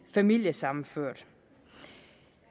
familiesammenført